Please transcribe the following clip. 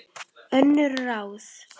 Önnur ráð